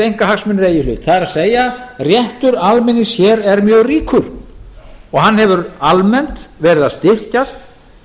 í hlut það er réttur almennings hér er mjög ríkur og hann hefur almennt verið að styrkjast